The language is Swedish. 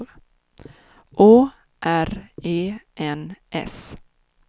Å R E N S